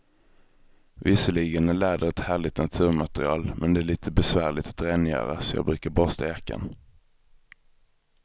Visserligen är läder ett härligt naturmaterial, men det är lite besvärligt att rengöra, så jag brukar borsta jackan.